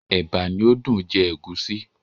Ẹ̀bà ni ó dùn jẹ ègúsí.